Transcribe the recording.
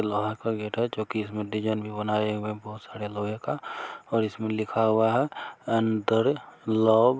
लोहे का गेट है जो कि इसमें डिजाइन भी बना हुए है बहुत सारे लोहे का और इसमें लिखा हुआ है अंतर लैब।